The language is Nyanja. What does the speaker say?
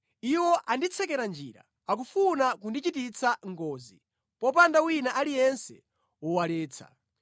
Iwo anditsekera njira; akufuna kundichititsa ngozi, popanda wina aliyense wowaletsa.